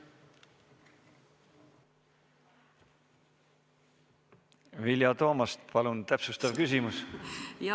Vilja Toomast, palun täpsustav küsimus!